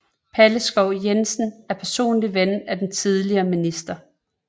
Palle Skov Jensen er personlig ven af den tidligere minister